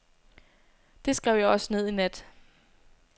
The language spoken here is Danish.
Det skrev jeg også ned i nat.